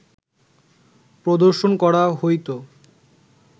প্রদর্শন করা হইত